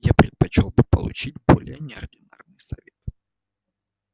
я предпочёл бы получить более неординарный совет